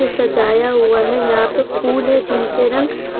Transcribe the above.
सजाया हुआ है यहां पर फूल है जिनके रंग--